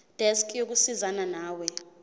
desk yokusizana nawe